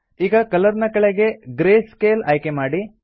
ಈಗ ಕಲರ್ ನ ಕೆಳಗಡೆ ಗ್ರೇ ಸ್ಕೇಲ್ ಆಯ್ಕೆ ಮಾಡಿ